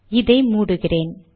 இதை மூடுகிறேன்